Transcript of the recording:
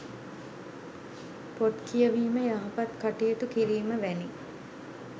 පොත් කියවීම යහපත් කටයුතු කිරීම වැනි